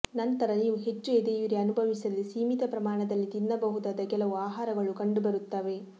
ನಂತರ ನೀವು ಹೆಚ್ಚು ಎದೆಯುರಿ ಅನುಭವಿಸದೆ ಸೀಮಿತ ಪ್ರಮಾಣದಲ್ಲಿ ತಿನ್ನಬಹುದಾದ ಕೆಲವು ಆಹಾರಗಳು ಕಂಡುಬರುತ್ತವೆ